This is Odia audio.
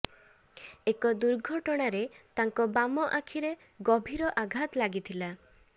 ଏକ ଦୂର୍ଘଟଣାରେ ତାଙ୍କ ବାମ ଆଖିରେ ଗଭୀର ଆଘାତ ଲାଗିଥିଲା